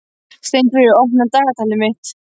Steinfríður, opnaðu dagatalið mitt.